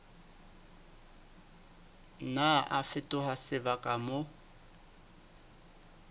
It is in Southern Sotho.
nna a fetoha sebaka moo